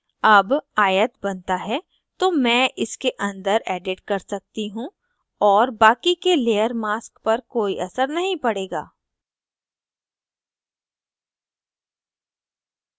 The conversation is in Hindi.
अब आयत बनता है तो मैं इसके अंदर edit कर सकती हूँ और बाकि के layer mask पर कोई असर नहीं पड़ेगा